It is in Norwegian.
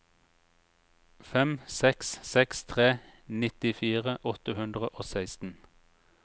fem seks seks tre nittifire åtte hundre og seksten